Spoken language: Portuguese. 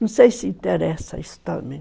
Não sei se interessa isso também.